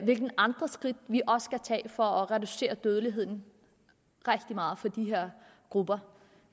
hvilke andre skridt vi også skal tage for at reducere dødeligheden rigtig meget for de her grupper